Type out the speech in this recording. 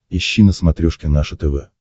ищи на смотрешке наше тв